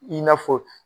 I n'a fɔ